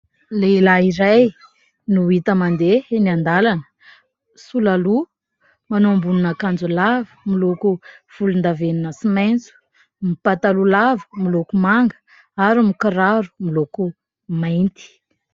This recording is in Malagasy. Lehilahy iray no hita mandeha eny an-dalana : sola loha, manao ambonin'akanjo lava miloko volondavenona sy maitso, mipataloha lava miloko manga ary mikiraro miloko mainty.